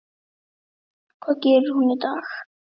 Hvað gerir hún í dag?